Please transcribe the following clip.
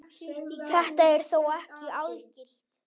Þetta er þó ekki algilt.